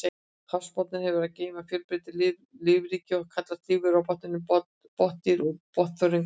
Hafsbotninn hefur að geyma fjölbreytilegt lífríki og kallast lífverurnar á botninum botndýr og botnþörungar.